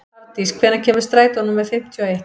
Hafdís, hvenær kemur strætó númer fimmtíu og eitt?